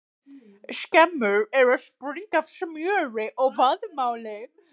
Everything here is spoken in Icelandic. Skemmur eru að springa af smjöri og vaðmáli!